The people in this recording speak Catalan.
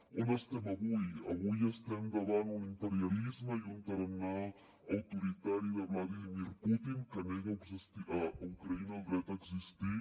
on estem avui avui estem davant un imperialisme i un tarannà autoritari de vladímir putin que nega a ucraïna el dret a existir